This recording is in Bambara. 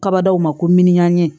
Kabadɔw ma ko minkanɲɛ